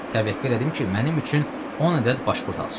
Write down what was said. Təvəkkül elədim ki, mənim üçün 10 ədəd başpurt alsın.